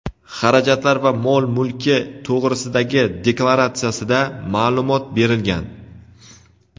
xarajatlari va mol-mulki to‘g‘risidagi deklaratsiyasida ma’lumot berilgan.